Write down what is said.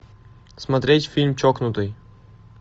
смотреть фильм чокнутый